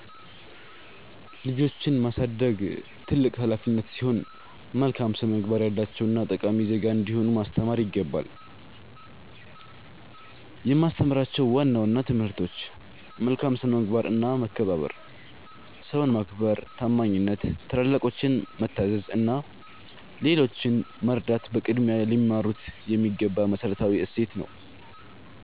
ልጆችን ማሳደግ ትልቅ ኃላፊነት ሲሆን፣ መልካም ስነ-ምግባር ያላቸውና ጠቃሚ ዜጋ እንዲሆኑ ማስተማር ይገባል። የማስተምራቸው ዋና ዋና ትምህርቶች፦ መልካም ስነ-ምግባርና መከባበር፦ ሰውን ማክበር፣ ታማኝነት፣ ታላላቆችን መታዘዝ እና ሌሎችን መርዳት በቅድሚያ ሊማሩት የሚገባ መሠረታዊ እሴት ነው።